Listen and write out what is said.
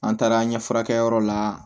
An taara an ye furakɛliyɔrɔ la